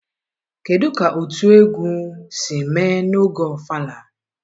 kedụ ka otu egwu si mee n'oge ofala?